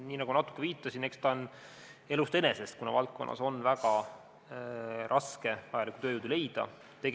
Nii nagu natuke viitasin, eks see ole tulnud elust enesest, kuna valdkonnas on väga raske tööjõudu leida.